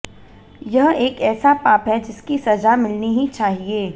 यह एक ऐसा पाप है जिसकी सजा मिलनी ही चाहिए